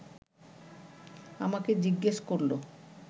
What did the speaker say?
আমাকে জিজ্ঞেস করল